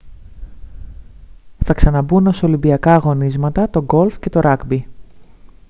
θα ξαναμπούν ως ολυμπιακά αγωνίσματα το golf και το rugby